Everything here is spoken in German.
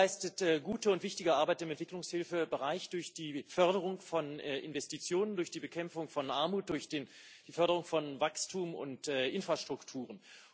Die EIB leistet gute und wichtige Arbeit im Entwicklungshilfebereich durch die Förderung von Investitionen, durch die Bekämpfung von Armut, durch die Förderung von Wachstum und Infrastrukturen.